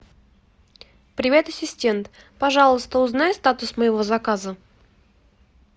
привет ассистент пожалуйста узнай статус моего заказа